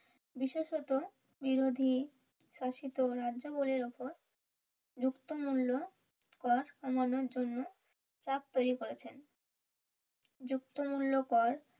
বিশেষত বিরোধী শাসিত রাজ্য গুলির উপর যুক্ত মূল্য কর কমানোর জন্য চাপ তৈরী করেছেন যুক্ত মূল্য কর